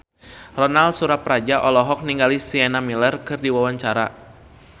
Ronal Surapradja olohok ningali Sienna Miller keur diwawancara